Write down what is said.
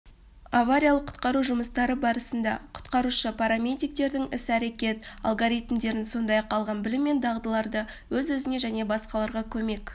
авариялық-құтқару жұмыстары барысында құтқарушы-парамедиктердің іс-әрекет алгоритмдерін сондай-ақ алған білім мен дағдыларды өз-өзіне және басқаларға көмек